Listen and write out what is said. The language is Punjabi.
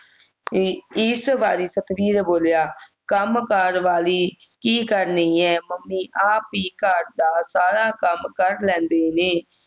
ਅਹ ਇਸ ਵਾਰੀ ਸਤਬੀਰ ਬੋਲਿਆ ਕੰਮ ਕਰ ਵਾਲੀ ਕੀ ਕਰਨੀ ਹੈ ਮੰਮੀ ਆਪ ਹੀ ਘਰ ਦਾ ਸਾਰਾ ਕੰਮ ਕਰ ਲੈਂਦੇ ਨੇ